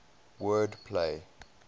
word play